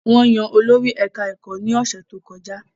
Wọ́n yan olórí ẹ̀ká ẹ̀kọ́ ní ọ̀sẹ̀ tó kọjá